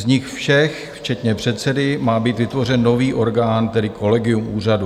Z nich všech včetně předsedy má být vytvořen nový orgán, tedy kolegium úřadu.